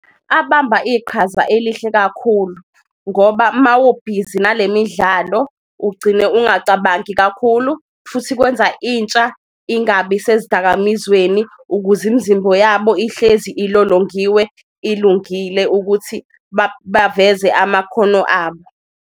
Abamba iqhaza elihle kakhulu ngoba mawubhizi nale midlalo ugcine ungacabangi kakhulu futhi kwenza intsha ingabi sezidakamizweni, ukuze imzimbo yabo ihlezi ilolongiwe ilungile ukuthi baveze amakhono abo.